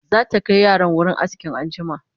zata Kai yaran wurin aski anjima